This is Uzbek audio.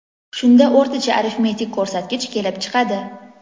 Shunda o‘rtacha arifmetik ko‘rsatgich kelib chiqadi.